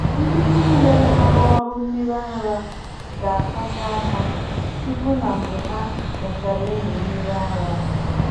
Ndị niile na-arụ ọrụ mmiri ara ga-asacha aka tupu na mgbe ha mechara ịmị mmiri ara.